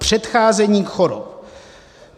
Předcházení chorob.